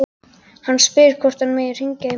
Hann spyr hvort hann megi hringja í mömmu sína.